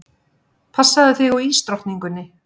Passaðu þig á ísdrottningunni.